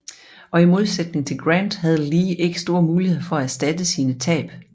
Og i modsætning til Grant havde Lee ikke store muligheder for at erstatte sine tab